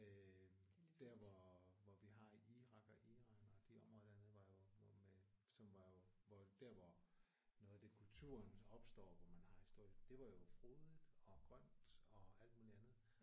Øh der hvor hvor vi har Irak og Iran og de områder dernede var jo med som var jo hvor der hvor noget af det kulturen opstår hvor man har historie det var jo frodigt og grønt og alt muligt andet